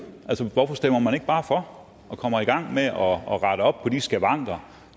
hvorfor stemmer man ikke bare for og kommer i gang med at rette op på de skavanker